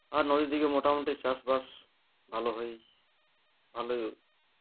আর নদীর দিকে মোটামুটি চাষবাস ভালো হোই ভালোই